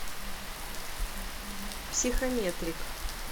психометрик